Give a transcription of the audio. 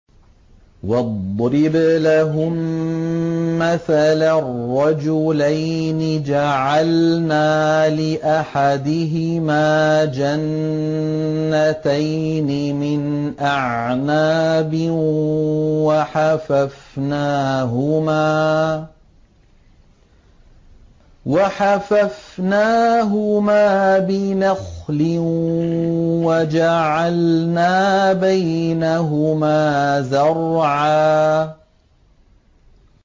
۞ وَاضْرِبْ لَهُم مَّثَلًا رَّجُلَيْنِ جَعَلْنَا لِأَحَدِهِمَا جَنَّتَيْنِ مِنْ أَعْنَابٍ وَحَفَفْنَاهُمَا بِنَخْلٍ وَجَعَلْنَا بَيْنَهُمَا زَرْعًا